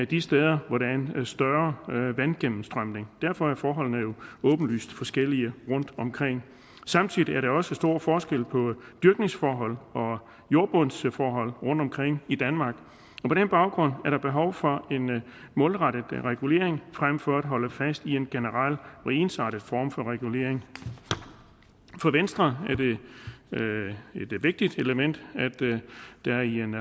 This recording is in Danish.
de steder hvor der er en større vandgennemstrømning derfor er forholdene jo åbenlyst forskellige rundt omkring samtidig er der også stor forskel på dyrkningsforhold og jordbundsforhold rundt omkring i danmark og baggrund er der behov for en målrettet regulering frem for at holde fast i en generel og ensartet form for regulering for venstre er det et vigtigt element